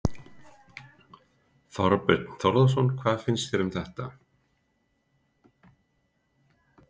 Þorbjörn Þórðarson: Hvað fannst þér um þetta?